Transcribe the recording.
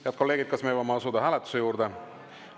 Head kolleegid, kas me võime asuda hääletuse juurde?